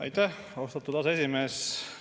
Aitäh, austatud aseesimees!